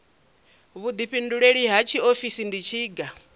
vhuḓifhinduleli ha tshiofisi ndi tshiga